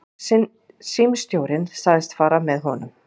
Símstjórinn sagðist fara með honum.